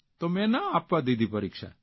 તો મેં ન આપવા દીધી પરીક્ષા